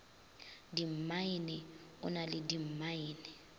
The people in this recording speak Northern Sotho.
dimmaene o na le dimmaene